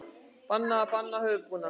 Bannað að banna höfuðbúnað